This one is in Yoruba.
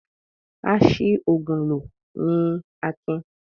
A ṣi òògùn lò ni Akin.